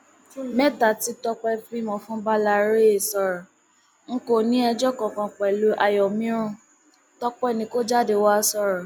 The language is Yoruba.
mẹta tí tọpẹ bímọ fún bàlàròyé sọrọ n kò ní ẹjọ kankan pẹlú àyòmírún tọpẹ ni kò jáde wàá sọrọ